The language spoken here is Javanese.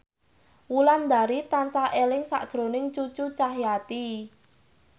Wulandari tansah eling sakjroning Cucu Cahyati